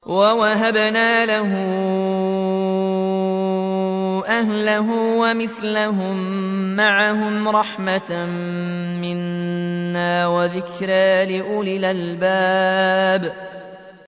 وَوَهَبْنَا لَهُ أَهْلَهُ وَمِثْلَهُم مَّعَهُمْ رَحْمَةً مِّنَّا وَذِكْرَىٰ لِأُولِي الْأَلْبَابِ